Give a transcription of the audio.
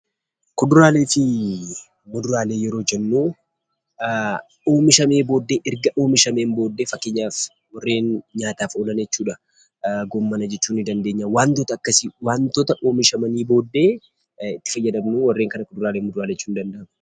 Kuduraaleefi muduraalee yeroo jennuu; oomishamee ergaa oomishaamen boodee fakkeenyaaf warreen nyaataaf oolan jechuudha. goomana jechuu ni dandeenyaa, Wantoota akkasi wantoota oomishamani boodee itti faayyadamnuu waareen kana kuduraaleefi muduraalee jechuu ni danda'ama.